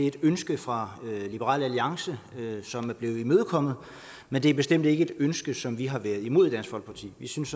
et ønske fra liberal alliances side som er blevet imødekommet men det er bestemt ikke et ønske som vi har været imod i dansk folkeparti vi synes